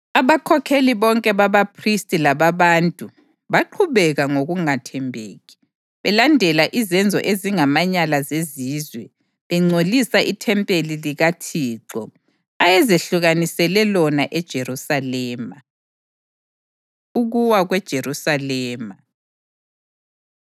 Abakhokheli bonke babaphristi lababantu baqhubeka ngokungathembeki, belandela izenzo ezingamanyala zezizwe, bengcolisa ithempeli likaThixo, ayezehlukanisele lona eJerusalema. Ukuwa KweJerusalema